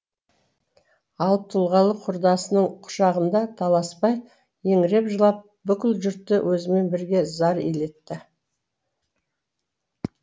алып тұлғалы құрдасының құшағында таласбай еңіреп жылап бүкіл жұртты өзімен бірге зар илетті